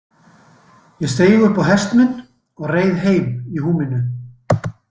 Ég steig upp á hest minn og reið heim í húminu.